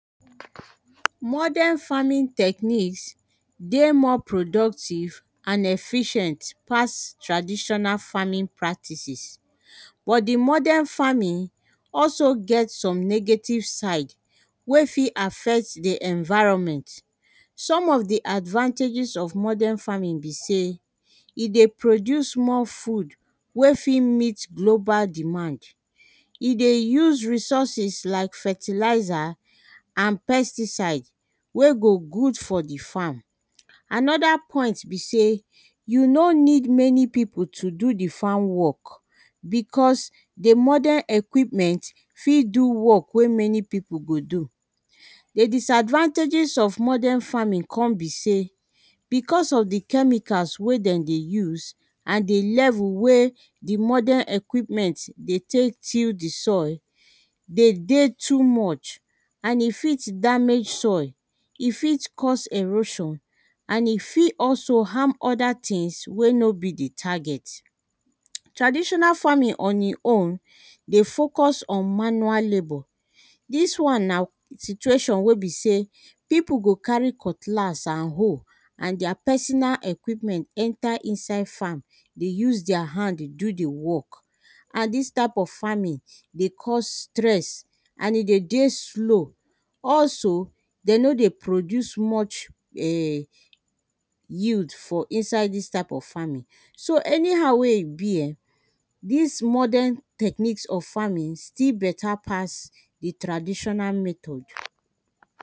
Modern farming technics dey more productive and efficient pass traditional farming practices. But di modern farming also get some negative side wey fi affect di environment. Some of the advanteges of modern farming be say e dey produce more food wey fi meet global demand, e dey use resourses like fertilizer and pesticide wey go good for the farm. Another point be sey, you no need many people to do the farm work. Because di modern equipment fi do work wey many people dey do, the disadvantages of modern farming come be say, because of the chemicals wey dem dey use and the level wey the modern equipment dey take till di soil dey dey too much and e fit damage soil. E fit cause erosion and e fi also harm others things wey no be d target. Traditional farming on e own dey focus on manual labour. dis one na situation wey be say people go carry cutlass and hoe and their personal equipment enter inside farm dey use their hand deydo di work. And dis type of farming dey cause stress and e dey dey slow, Also dey no dey produce much um yield for inside dis type of farming, so anyhow wey e be um dis modern technics of farming still better pass di traditional method.